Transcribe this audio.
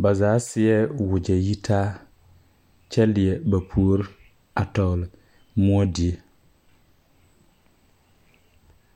ba zaa seɛɛ wogyɛ yitaa kyɛ lie ba puore a tɔgle moɔ die.